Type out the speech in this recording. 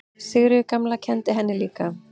Sigríður gamla kenndi henni líka.